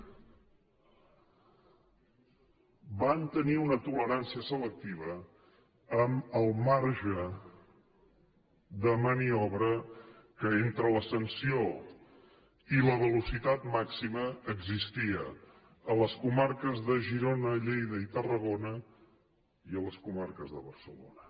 ) van tenir una tolerància selectiva amb el marge de maniobra que entre la sanció i la velocitat màxima existia a les comarques de girona lleida i tarragona i a les comarques de barcelona